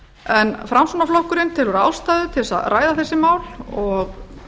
en framsóknarflokkurinn telur ástæðu til að ræða þessi mál og